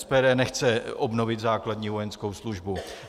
SPD nechce obnovit základní vojenskou službu.